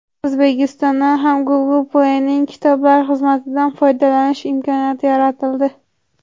O‘zbekistondan ham Google Play’ning kitoblar xizmatidan foydalanish imkoniyati yaratildi.